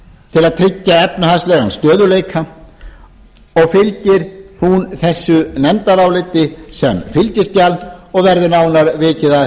tryggja efnahagslegan stöðugleika og fylgir hún þessu nefndaráliti sem fylgiskjal og verður nánar vikið að